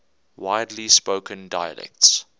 widely spoken dialects